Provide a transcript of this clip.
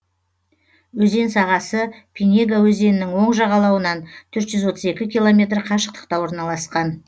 өзен сағасы пинега өзенінің оң жағалауынан төрт жүз отыз екі километр қашықтықта орналасқан